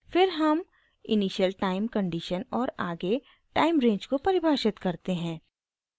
फिर हम initial time condition और आगे टाइम रेंज को परिभाषित करते हैं